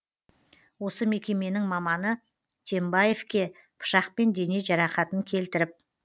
осы мекеменің маманы тембаевке пышақпен дене жарақатын келтіріп